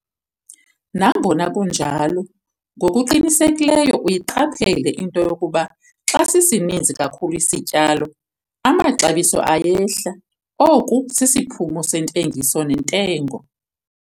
Nangona kunjalo, ngokuqinisekileyo uyiqaphele into yokuba xa sisininzi kakhulu isityalo, amaxabiso ayehla - oku sisiphumo 'sentengiso nentengo'.